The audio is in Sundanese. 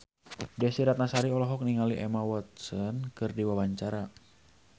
Desy Ratnasari olohok ningali Emma Watson keur diwawancara